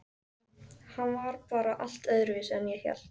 Hann var bara allt öðruvísi en ég hélt.